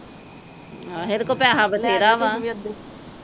ਹਾਂ ਏਦੇ ਕੋਲ ਪੈਸਾ ਵੇਥੇਰਾ ਵਾ